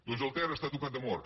doncs el ter està tocat de mort